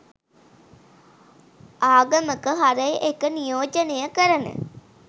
ආගමක හරය එක නියෝජනය කරන